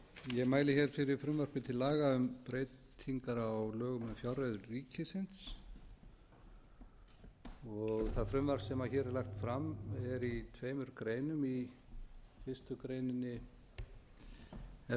ég mæli hér fyrir frumvarpi til laga um breytingar á lögum um fjárreiður ríkisins það frumvarp sem hér er lagt fram er í tveimur greinum í fyrstu grein er það